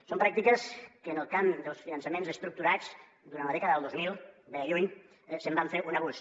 són pràctiques que en el camp dels finançaments estructurats durant la dècada del dos mil ve de lluny se’n va fer un abús